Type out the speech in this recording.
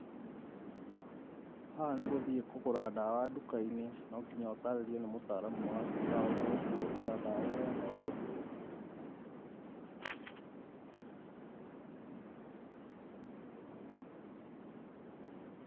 Haha nĩ gũthiĩ kũgũra dawa duka-inĩ nonginya ũtarĩrio nĩ mũtaaramu wa duka ũrĩa ũkũhũthĩra dawa ĩyo na ũrĩa ĩgũgũteithia.